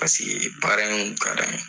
Paseke baara in ka d'an ye.